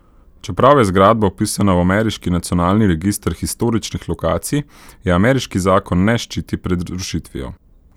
Čeprav je zgradba vpisana v ameriški Nacionalni register historičnih lokacij, je ameriški zakon ne ščiti pred rušitvijo.